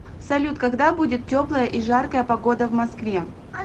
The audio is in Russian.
салют когда будет теплая и жаркая погода в москве